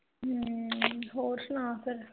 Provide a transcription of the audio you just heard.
ਹਮ ਹੋਰ ਸੁਣਾ ਫਿਰ?